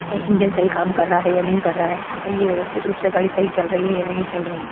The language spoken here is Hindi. यह इंजन सही काम कर रहा है या नहीं कर रहा है यह व्यवस्थित रूप से गाड़ी सही चल रही है या नहीं चल रही है।